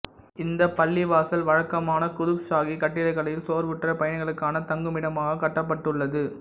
இந்த பள்ளிவாசல் வழக்கமான குதுப் ஷாஹி கட்டிடக்கலையில் சோர்வுற்ற பயணிகளுக்கான தங்குமிடமாகக் கட்டப்பட்டுள்ளது